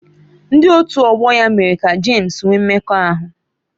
Ndị otu ọgbọ ya mere ka James nwee mmekọahụ.